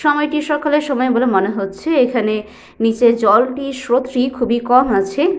সময়টি সকালের সময় বলে মনে হচ্ছে। এখানে নিচে জলটির স্রোতটি খুবই কম আছে।